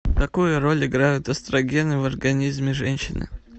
какую роль играют эстрогены в организме женщины